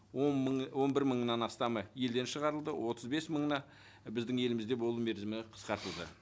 он мың он бір мыңнан астамы елден шығарылды отыз бес мыңына біздің елімізде болу мерзімі қысқартылды